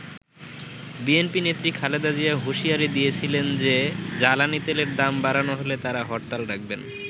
BNP নেত্রী খালেদা জিয়া হুঁশিয়ারি দিয়েছিলেন যে জ্বালানি তেলের দাম বাড়ানো হলে তারা হরতাল ডাকবেন।